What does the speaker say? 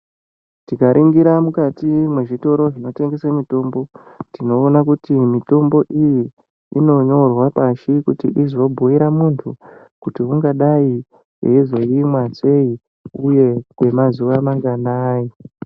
Tikaringira mukati mwezvitoro zvinotengesa mitombo tinoona kuti mitombo iyi inonyorwa pashi kuti izobhuira munthu kuti ungadai eizoimwa sei uye kwemazuwa managanai.